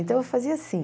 Então, eu fazia assim.